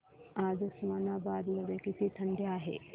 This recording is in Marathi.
आज उस्मानाबाद मध्ये किती थंडी आहे